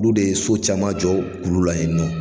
Olu de ye so caman jɔ o kulu la yen nɔ.